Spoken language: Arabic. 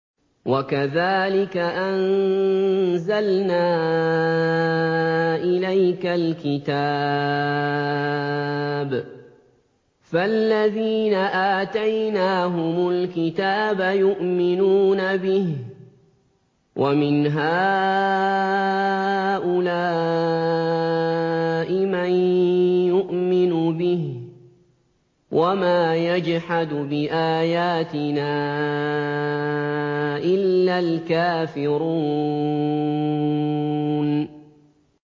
وَكَذَٰلِكَ أَنزَلْنَا إِلَيْكَ الْكِتَابَ ۚ فَالَّذِينَ آتَيْنَاهُمُ الْكِتَابَ يُؤْمِنُونَ بِهِ ۖ وَمِنْ هَٰؤُلَاءِ مَن يُؤْمِنُ بِهِ ۚ وَمَا يَجْحَدُ بِآيَاتِنَا إِلَّا الْكَافِرُونَ